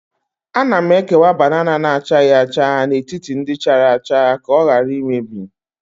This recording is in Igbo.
Ana m ekewa banana na-achaghị acha n'etiti ndị chara acha ka ọ ghara imebi